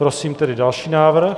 Prosím tedy další návrh.